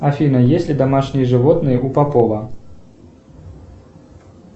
афина есть ли домашние животные у попова